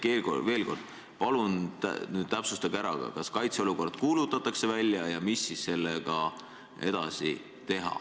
Ehk veel kord: palun täpsustage, kas kaitseolukord kuulutatakse välja ja mis siis edasi saab.